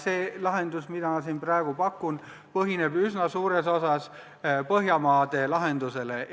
See lahendus, mida mina siin pakun, põhineb üsna suures osas Põhjamaade lahendusel.